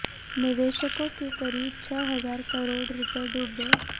निवेशकों के करीब छह हजार करोड़ रूपए डूब गए